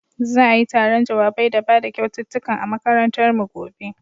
Za'ai taron jawabai da bada kyaututtukan a makarantar mu gobe.